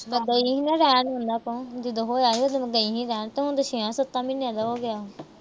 ਨੀ ਰਹਿਣ ਦਿੰਦਾ ਤਾਂ। ਜਦੋਂ ਹੋਇਆ ਸੀ, ਉਦੋਂ ਨੀ ਰਹਿਣ ਦਿੱਤਾ। ਹੁਣ ਤਾਂ ਛੇਆ-ਸੱਤਾ ਮਹੀਨਿਆਂ ਦਾ ਹੋ ਗਿਆ।